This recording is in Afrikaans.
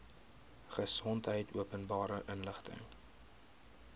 gesondheid openbare inligting